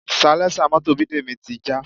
Salẹ́sà mọ́tò Bidemi ti já